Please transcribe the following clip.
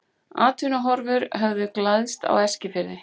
Atvinnuhorfur höfðu glæðst á Eskifirði.